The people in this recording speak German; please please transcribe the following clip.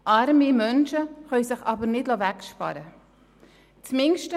Arme Menschen können sich aber nicht wegsparen lassen.